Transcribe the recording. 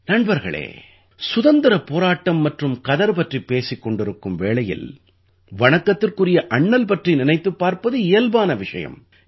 நண்பர்களே சுதந்திரப் போராட்டம் மற்றும் கதர் பற்றிப் பேசிக் கொண்டிருக்கும் வேளையில் வணக்கத்திற்குரிய அண்ணல் பற்றி நினைத்துப் பார்ப்பது இயல்பான விஷயம்